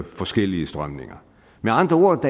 forskellige strømninger med andre ord